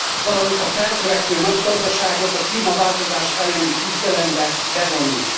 valamint a feltörekvő nagygazdaságot a klímaváltozás elleni küzdelembe bevonni.